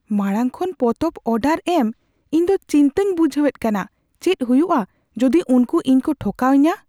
ᱢᱟᱲᱟᱝ ᱠᱷᱚᱱ ᱯᱚᱛᱚᱵ ᱚᱰᱟᱨ ᱮᱢ ᱤᱧ ᱫᱚ ᱪᱤᱱᱛᱟᱹᱧ ᱵᱩᱡᱷᱟᱹᱣ ᱮᱫ ᱠᱟᱱᱟ, ᱪᱮᱫ ᱦᱩᱭᱩᱜᱼᱟ ᱡᱩᱫᱤ ᱩᱱᱠᱩ ᱤᱧ ᱠᱚ ᱴᱷᱚᱠᱟᱣ ᱤᱧᱟ ?